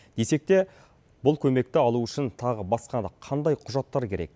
десек те бұл көмекті алу үшін тағы басқа да қандай құжаттар керек